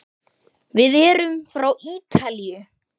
Við erum frá Ítalíu.